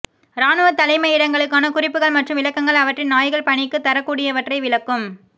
இராணுவத் தலைமையிடங்களுக்கான குறிப்புகள் மற்றும் விளக்கங்கள் அவற்றின் நாய்கள் பணிக்குத் தரக்கூடியவற்றை விளக்கும்